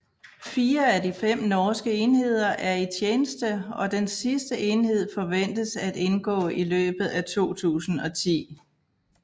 Fire af de fem norske enheder er i tjeneste og den sidste enhed forventes at indgå i løbet af 2010